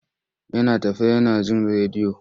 Yana tafe yana jin rediyo.